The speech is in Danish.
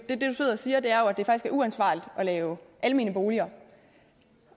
er uansvarligt at lave almene boliger